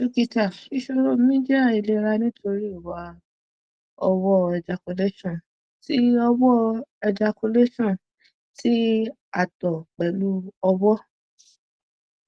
dokita isoro mi jẹ ailera nitori iwa ọwọ ejaculation ti ọwọ ejaculation ti ato pẹlu ọwọ